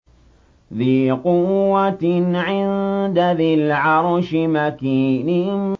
ذِي قُوَّةٍ عِندَ ذِي الْعَرْشِ مَكِينٍ